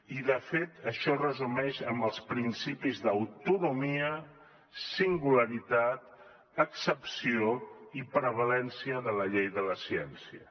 i de fet això es resumeix en els principis d’autonomia singularitat excepció i prevalença de la llei de la ciència